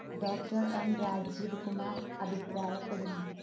doctor M Rajeev Kumar അഭിപ്രായപ്പെടുന്നു.